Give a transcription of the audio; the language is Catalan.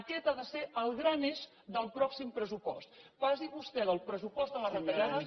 aquest ha de ser el gran eix del pròxim pressupost passi vostè del pressupost de les retallades